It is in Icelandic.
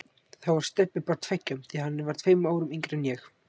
Þá var Stebbi bara tveggja, því að hann var tveimur árum yngri en ég.